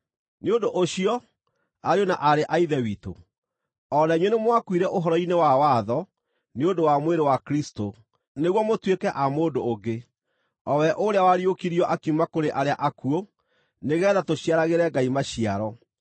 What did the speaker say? Nĩ ũndũ ũcio, ariũ na aarĩ a Ithe witũ, o na inyuĩ nĩmwakuire ũhoro-inĩ wa watho nĩ ũndũ wa mwĩrĩ wa Kristũ, nĩguo mũtuĩke a mũndũ ũngĩ, o we ũrĩa wariũkirio akiuma kũrĩ arĩa akuũ, nĩgeetha tũciaragĩre Ngai maciaro.